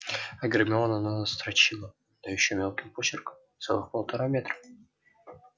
а гермиона настрочила да ещё мелким почерком целых полтора метра